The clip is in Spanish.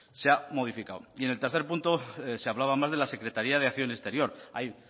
se ha modificado y en el tercer punto se hablaba más de la secretaría de acción exterior hay